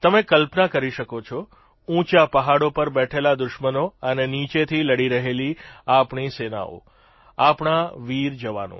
તમે કલ્પના કરી શકો છો ઉંચા પહાડો પર બેઠેલા દુશ્મનો અને નીચેથી લડી રહેલી આપણી સેનાઓ આપણા વીર જવાનો